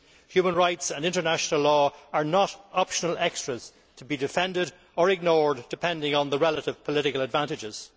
Human rights and international law are not optional extras to be defended or ignored depending on the relevant political advantages.